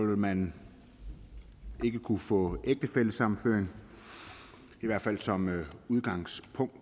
vil man ikke kunne få ægtefællesammenføring i hvert fald som udgangspunkt